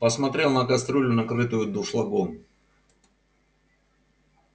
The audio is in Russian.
посмотрел на кастрюлю накрытую дуршлагом